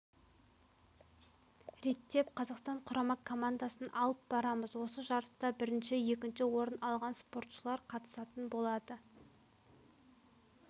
реттеп қазақстан құрама командасын алып барамыз осы жарыста бірінші екінші орын алған спортшылар қатысатын болады